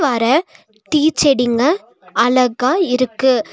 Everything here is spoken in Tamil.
பாற டீ செடிங்க அழகா இருக்கு.